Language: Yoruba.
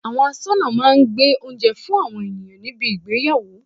Àwọn asọ́nà máa ń gbé oúnjẹ fún àwọn ènìyàn níbi ìgbéyàwó.